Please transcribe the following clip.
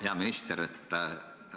Hea minister!